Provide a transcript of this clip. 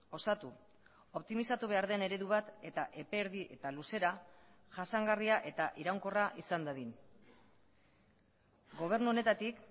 osatu optimizatu behar den eredu bat eta epe erdi eta luzera jasangarria eta iraunkorra izan dadin gobernu honetatik